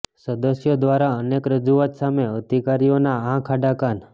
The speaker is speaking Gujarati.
સદસ્યો દ્વારા અનેક રજૂઆત સામે અધિકારીઓના આંખ આડા કાન